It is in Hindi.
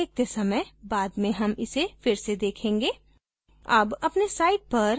इस tutorial को देखते समय बाद में हम इसे फिर से देखेंगे